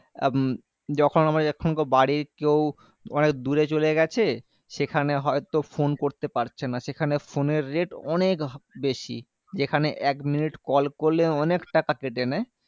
হম যখন আমরা বাড়ির কেউ অনেক দূরে চলে গেছে সেখানে হয়তো phone করতে পারছে না সেখানে phone এর rate অনেক বেশি যেখানে এক minute call করলে অনেক টাকা কেটে নেয়